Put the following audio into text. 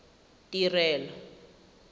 tirelo